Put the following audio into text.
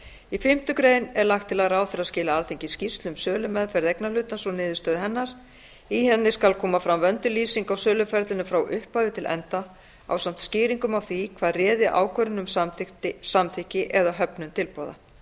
í fimmtu grein er lagt til að ráðherra skili alþingi skýrslu um sölumeðferð eignarhlutans og niðurstöðu hennar í henni skal koma fram vönduð lýsing á söluferlinu frá upphafi til enda ásamt skýringum á því hvað réði ákvörðun um samþykki eða höfnun tilboða